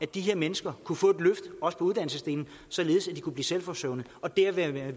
de her mennesker kunne få et løft også på uddannelsesdelen således at de kunne blive selvforsørgende og dermed være